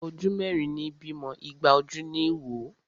Ojú mẹ́rin ní bímọ, igba ojú ní wò.